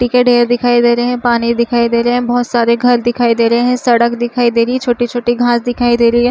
डिकड area दिखाई दे रहे है पानी दिखाई दे रहे है बहुत सारे घर दिखाई दे रहे है सड़क दिखाई दे रहे है छोटे छोटे घास दिखाई दे रही है।